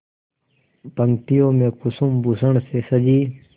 पंक्तियों में कुसुमभूषण से सजी